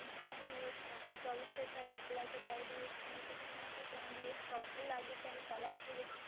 ત્રણ દિવસ ચોવીસ કે અડતાલીસ કલાક કે બે દિવસમાં એવું કશું ના થાય, ત્રણ દિવસ proper લાગે કે એની પહેલાં એક્ટિવેટ